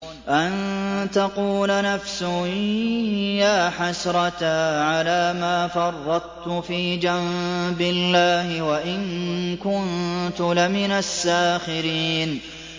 أَن تَقُولَ نَفْسٌ يَا حَسْرَتَا عَلَىٰ مَا فَرَّطتُ فِي جَنبِ اللَّهِ وَإِن كُنتُ لَمِنَ السَّاخِرِينَ